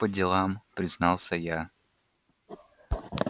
по делам признался я